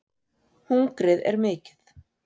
Hungrið er mikið